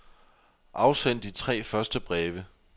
Afsend de tre første breve.